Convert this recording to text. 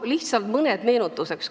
Lihtsalt mõned meenutuseks.